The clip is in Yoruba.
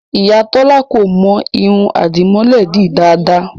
Ìyá Tọ́lá kò mọ irun àdìmọ́lẹ̀ ẹ dì dáadáa